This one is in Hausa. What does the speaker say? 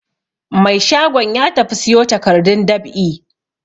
Mai shagon ya tafi siyo takardun dab'i.